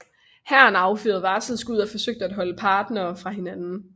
Hæren affyrede varselsskud og forsøgte at holde parterne fra hinanden